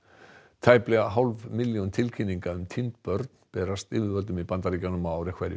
tæplega hálf milljón tilkynninga um týnd börn berast yfirvöldum í Bandaríkjunum ár